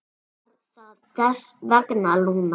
Var það þess vegna, Lúna?